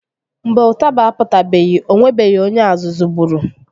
Mgbe ụtaba apụtabeghi o nwebeghi onye azụzụ gburu